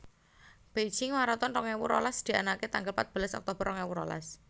Beijing Maraton rong ewu rolas dianake tanggal patbelas Oktober rong ewu rolas